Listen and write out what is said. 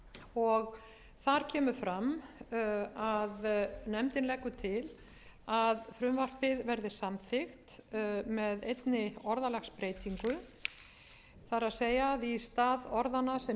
og þar kemur fram að nefndin leggur til að frumvarpið verði samþykkt með einni orðalagsbreytingu það er að í stað orðanna sem